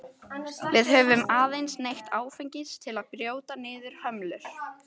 Við höfum aðeins neytt áfengis til að brjóta niður hömlur.